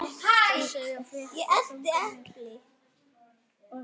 Þið segið fréttir þykir mér!